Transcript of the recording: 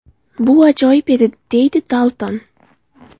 Bu ajoyib edi”, deydi Dalton.